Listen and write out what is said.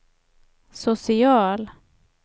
social